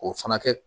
K'o fana kɛ